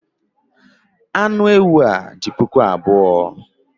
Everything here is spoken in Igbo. Anụ ewu dị puku abụọ